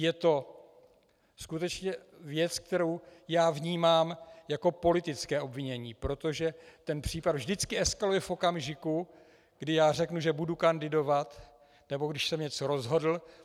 Je to skutečně věc, kterou já vnímám jako politické obvinění, protože ten případ vždycky eskaluje v okamžiku, kdy já řeknu, že budu kandidovat nebo když jsem něco rozhodl.